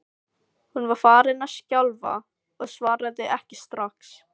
Hún var farin að skjálfa og svaraði ekki strax.